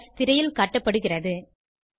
syntax திரையில் காட்டப்படுகிறது